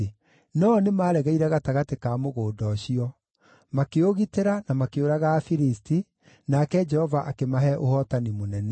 No-o nĩmaregeire gatagatĩ ka mũgũnda ũcio. Makĩũgitĩra, na makĩũraga Afilisti, nake Jehova akĩmahe ũhootani mũnene.